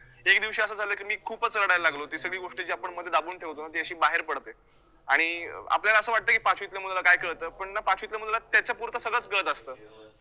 तर त्यादिवशी असं झालं की, मी खूपच रडायला लागलो, ती सगळी गोष्ट जी आपण मध्ये दाबून ठेवतो ती अशी बाहेर पडते आणि अं आपल्याला असं वाटतं की पाचवीतल्या मुलाला काय कळतं, पण ना पाचवीतल्या मुलाला त्याच्या पुरता सगळचं कळतं असतं.